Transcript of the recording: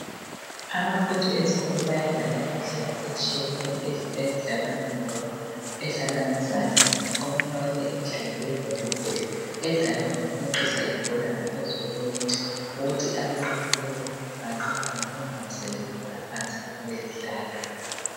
Abafundi ezikolo bayadlala imidlalo etshiyeneyo edlalwa ngebhora edlalwa ngezandla. Omunye wakhona yaleyi midlalo yi volleyball edlalwa ngokweqisa ibhola ngaphezu kwenethi, kuthi abanqobileyo banqoba ngokungawiseli ibhola phansi lapho bedlala.